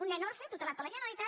un nen orfe tutelat per la generalitat